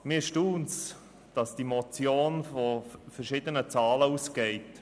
Mich erstaunt, dass die Motion von unterschiedlichen Zahlen ausgeht: